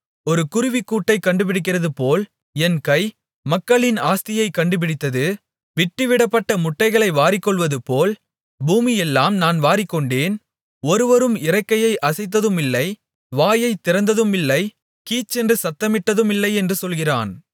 ஒரு குருவிக்கூட்டைக் கண்டுபிடிக்கிறதுபோல் என் கை மக்களின் ஆஸ்தியைக் கண்டுபிடித்தது விட்டுவிடப்பட்ட முட்டைகளை வாரிக்கொள்வதுபோல் பூமியையெல்லாம் நான் வாரிக்கொண்டேன் ஒருவரும் இறக்கையை அசைத்ததுமில்லை வாயைத் திறந்ததுமில்லை கீச்சென்று சத்தமிட்டதுமில்லை என்று சொல்கிறான்